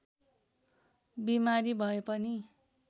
बिमारी भए पनि